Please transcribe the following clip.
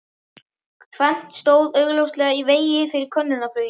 Tvennt stóð augljóslega í vegi fyrir könnunarflugi